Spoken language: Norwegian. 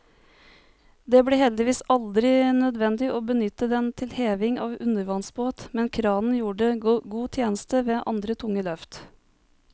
Det ble heldigvis aldri nødvendig å benytte den til heving av undervannsbåt, men kranen gjorde god tjeneste ved andre tunge løft.